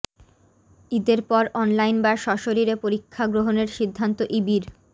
ঈদের পর অনলাইন বা স্বশরীরে পরীক্ষা গ্রহণের সিদ্ধান্ত ইবির